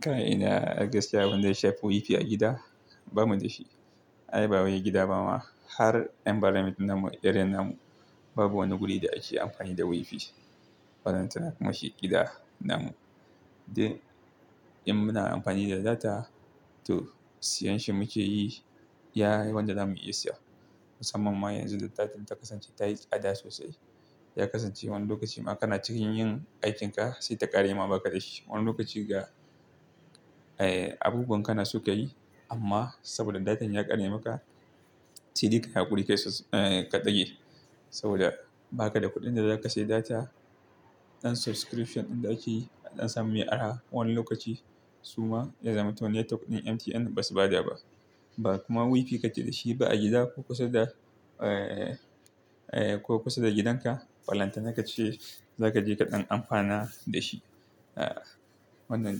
Kai ina, ai gaskiya abunda ya shafi WiFi a gida ba mu da shi. Ai bawai gida ba ma, har environment din namu, irin namu, babu wani guri da ake amfani da WiFi, ballanta na kuma shi gida namu. Dan, in muna amfani da data, toh siyan shi muke yi, iya wanda za mu iya siya. Musamman ma yanzu da data ta kasance tayi tsada sosai, Ya kasance wani lokaci ma kana cikin yin aikin ka sai ta ƙare ma ba ka da shi. Wani lokaci ga, eh, abubuwan kana so ka yi amma saboda datan ya ƙare maka, sai dai kayi haƙuri kai sus-- ka ɗage. Saboda, ba ka da kuɗin da za ka sayi data, ɗan subscription ɗin da ake yi, a ɗan samu mai arha, wani lokaci, suma ya zamanto network ɗin MTN basu ba da ba. Ba kuma WiFi ka ke da shi ba a gida, ko kusa da, eh, ko kusa da gidanka, Balanta na ka ce, za ka je kaɗan amfana da shi. Ah, wannan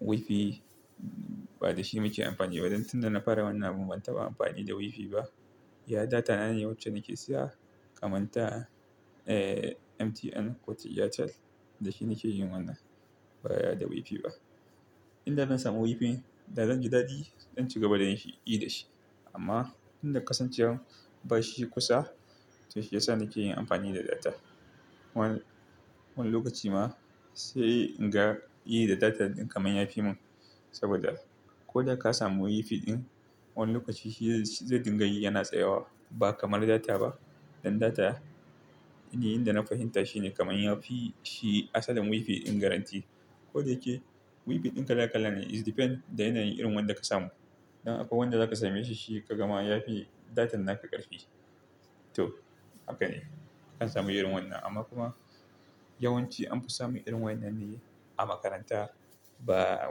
WiFi ba da shi muke amfani ba, don tun da na fara wannan abun ban taɓa amfani da WiFi ba. Iya data na ne wacce nake siya. Kaman ta, MTN ko ta Airtel, da shi nake yin wannan. Ba ya da WiFi ba. Inda zan samu WiFi, da zan ji daɗi, don ci gaba da yinshi, yi da shi. Amma, tinda kasancewan ba shi kusa, to shi ya sa nake yin amfani da data. Wani, wani lokaci ma, sai in ga, yi da data ɗin kamar yafi mun. Saboda, ko da ka samu WiFi ɗin, wani lokaci shi zai dingayi yana tsayawa, ba kamar data ba. Dan data, ni yin da na fahimta shine kamar yafi shi asalin WiFi ɗin garanti. Ko da yake, WiFi ɗin kala kala ne, it depends da yanayin irin wanda ka samu. Dan akwai wanda zaka sameshi shi ka gama yafi datan naka ƙarfi. Toh haka ne. Akan samu irin wannan amma kuma yawanci anfi samun irin wannan ne a makaranta ba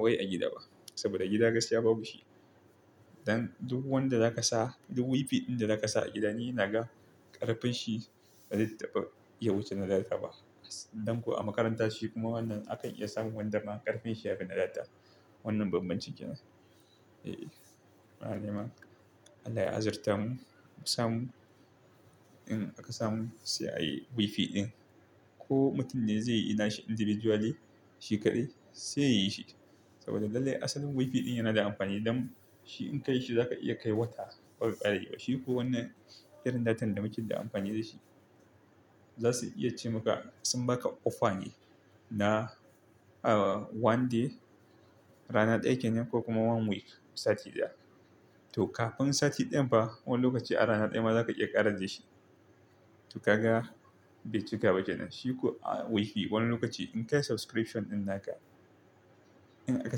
wai a gida ba. Saboda gida gaskiya babu shi. Dan duk wanda za ka sa, duk WiFi ɗin da za ka sa a gida ni inaga ƙarfin shi bazai taɓa ya wuce na data ba. Dan kuwa a makaranta shi kuma wannan akan iya samun wanda ma ƙarfin shi ya fi na data. Wannan banbancin ke nan. Eh, muna nema Allah ya azurta mu. Mu samu, in aka samu sai a yi WiFi ɗin. Ko mutum ne zai yi na shi individually, shi kaɗai sai yayi shi. Saboda lallai asalin WiFi ɗin yana da amfani don shi in ka yi shi za ka iya kai wata, bazai ƙareba, shiko wannan irin datan da muke yin da amfani da shi, zasu iya ce maka sun baka offer ne, na, ah one day, rana ɗaya kenan, ko kuma one week, sati ɗaya. Toh kafin sati ɗayan fa wani lokaci a rana ɗaya ma zaka iya ƙarar da shi. To kaga, bai cika ba kenan, shi ko WiFi wani lokaci in kai subscription ɗin naka, in aka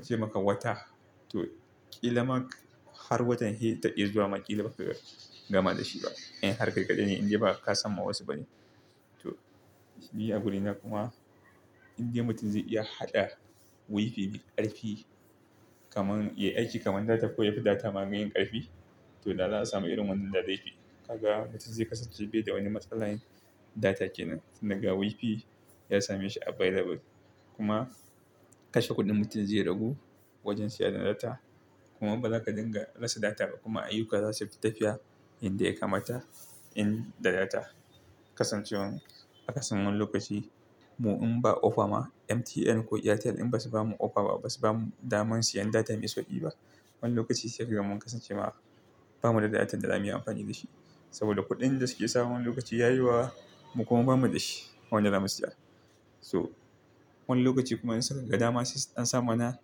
ce maka wata toh ƙila mak, har watan hi ta iya zuwa ma ƙila baka gama da shi ba. In har kai kaɗai ne inda ba ka samma wasu ba ne. Toh ni agurina kuma, indai mutum zai iya haɗa WiFi mai ƙarfi kamar, yayi aiki kamar data ko yafi data ma maiyin ƙarfi, to da za a samu irin wannan da zai fi. Kaga mutum zai kasance bai da wani matsala data kenan. Tunda ga WiFi ya same shi available, kuma kashe kuɗin mutum zai ragu, wajen siyan data kuma ba za ka dinga rasa data ba kuma ayyuka za su fi tafiya inda ya kamata in da data. Kasancewan aka samu wani lokaci mu in ba offer ma MTN ko Airtel in basu bamu offer ba basu bamu daman siyan data mai sauƙi ba. Wani lokaci sai ka ga mun kasance ma ba mu da datan da za mu yi amfani da shi. Saboda kuɗin da suke sawa wani lokaci ya yi wa, mu kuma ba mu da shi. Wanda za mu siya. To wani lokaci kuma in suka ga dama sai su ɗan samana,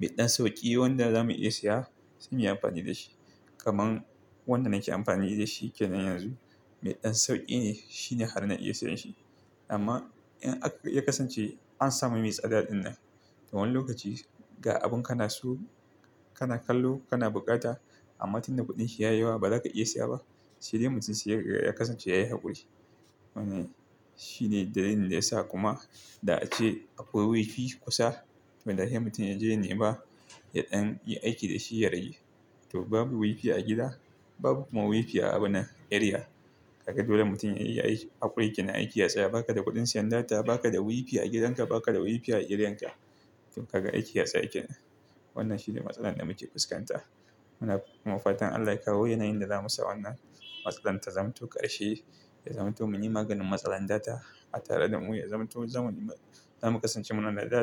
me ɗan sauƙi wanda za mu iya siya sai mu yi amfani da shi. Kaman, wanda nake amfani da shi kenan yanzu, me ɗan sauƙi ne, shine har na iya siyan shi. Amma in aka, ya kasance, an samu me tsada ɗinnan, toh wani lokaci, ga abun kana so kana kallo kana buƙata, amma tun da kuɗin shi ya yi wa ba za ka iya siya ba. Shi dai mutum sai ya kasance yayi haƙuri. Wannan, shi ne dalilin da yasa kuma da ace akwai WiFi kusa, to da hai mutum ya je ya nema, ya ɗan yi aiki da shi ya rage. To babu WiFi a gida, babu kuma WiFi a abunnan, area. Kaga dole mutum yayi aiki haƙuri kenan, aiki ya tsaya. Baka da kuɗin siyan data, baka da WiFi a gidanka, baka da WiFi a areanka. To kaga aiki ya tsaya kenan. Wannan shi ne matsalar da muke fuskanta. Muna kuma fatan Allah ya kawo yanayin da za musa wannan matsalan ta zamto ƙarshe, Ya zamanto mun yi maganin matsalar data a tare da mu. Ya zaman to zamu, za mu kasance muna da data.